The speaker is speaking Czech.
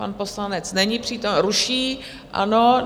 Pan poslanec není přítomen... ruší, ano.